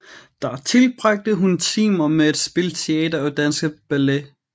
Der tilbragte hun timer med at spille teater og danse ballet